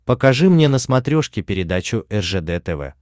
покажи мне на смотрешке передачу ржд тв